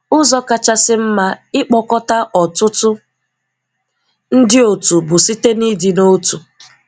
Ụzọ kachasi mma ịkpọkọta ọtụtụ ndi otu bụ site n'ịdị n'otu.